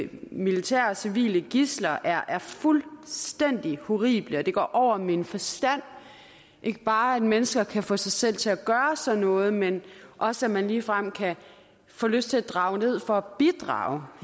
militære og civile gidsler er er fuldstændig horrible og det går over min forstand ikke bare at mennesker kan få sig selv til at gøre sådan noget men også at man ligefrem kan få lyst til at drage ned for at bidrage